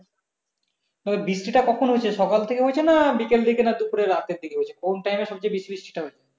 তবে বৃষ্টি তা কখন হয়েছে সকাল থেকে হয়েছে না বিকাল থেকে না দুপুরে রাত্রের দিকে হয়েছে কোন time এ সবচেয়ে বেশি বৃষ্টি টা হচ্ছে?